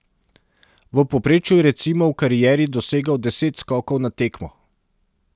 V povprečju je recimo v karieri dosegal deset skokov na tekmo.